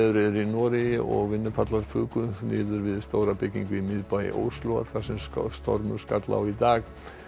er í Noregi og vinnupallar fuku niður við stóra byggingu í miðbæ Óslóar þegar stormur skall á í dag